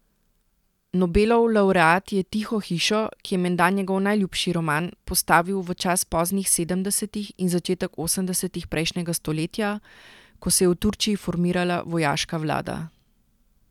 Nobelov lavreat je Tiho hišo, ki je menda njegov najljubši roman, postavil v čas poznih sedemdesetih in začetek osemdesetih prejšnjega stoletja, ko se je v Turčiji formirala vojaška vlada.